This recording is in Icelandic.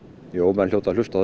jú menn hljóta að hlusta á